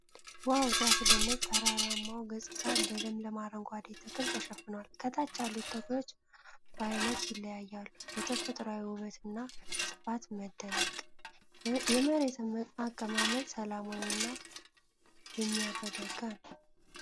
ዋው ሲያስደንቅ! ተራራማው ገጽታ በለምለም አረንጓዴ ተክል ተሸፍኗል። ከታች ያሉት ተክሎች በአይነት ይለያያሉ። በተፈጥሮአዊ ውበት እና ስፋት መደነቅ !!። የመሬት አቀማመጡ ሰላማዊ እና የሚያረጋጋ ነው።